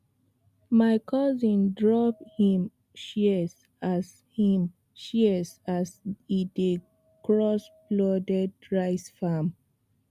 my cousin drop him shears as him shears as e dey cross flooded rice farm